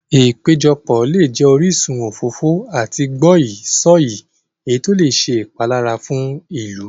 Ìpéjọpọ̀ lè jẹ orísun òfófó àti gbọ́yìí-sọ̀yìí, èyí tó lè ṣe ìpalára fún ìlú.